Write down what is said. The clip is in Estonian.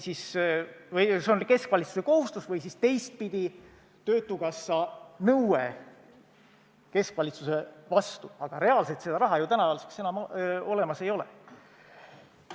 See on keskvalitsuse kohustus või siis teistpidi, töötukassa nõue keskvalitsuse vastu, aga reaalselt seda raha ju tänaseks enam olemas ei ole.